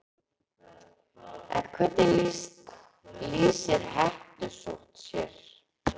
En hvernig lýsir hettusótt sér?